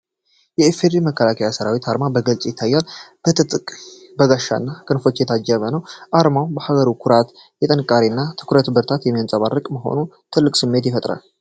የኢፌዲሪ መከላከያ ሠራዊት አርማ በግልጽ ይታያል፤ በትጥቅ፣ በጋሻና በክንፎች የታጀበው ነው። አርማው የሀገርን ኩራት፣ ጥንካሬና ትኩረት በብርቱ የሚያንጸባርቅ መሆኑ ትልቅ ስሜት ይፈጥራል።